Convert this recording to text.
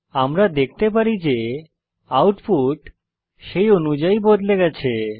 আমরা দেখি যে আউটপুট সেই অনুযায়ী বদলে গেছে